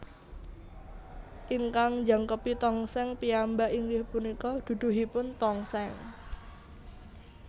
Ingkang njangkepi tongseng piyambak inggih punika duduhipun tongseng